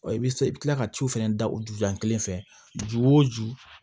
I bɛ se i bɛ tila ka ciw fɛnɛ da o juya kelen fɛ ju o ju